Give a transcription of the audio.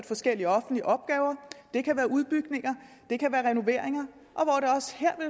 forskellige offentlige opgaver det kan være udbygninger det kan være renoveringer